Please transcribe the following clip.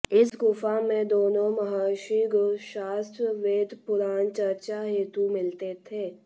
इस गुफा में दोनों महर्षि गूढ़ शास्त्र वेद पुराण चर्चा हेतु मिलते थे